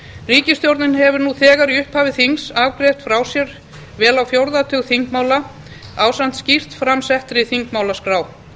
ríkisstjórnin hefur nú þegar við upphaf þings afgreitt frá sér vel á fjórða tug þingmála ásamt skýrt fram settri þingmálaskrá